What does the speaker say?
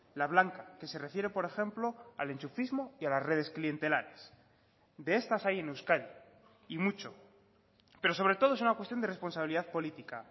la blanca que se refiere por ejemplo al enchufismo y a las redes clientelares de estas hay en euskadi y mucho pero sobre todo es una cuestión de responsabilidad política